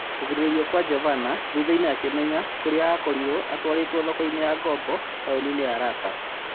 Kũgirĩrĩrio kwa Jovana thuthainĩ akĩmenya kũrĩa akorirwo atwarĩtwo thokoinĩ ya ngobo taũninĩ ya Raka.